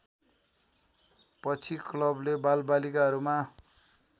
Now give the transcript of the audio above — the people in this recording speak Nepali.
पछि क्लबले बालबालिकाहरूमा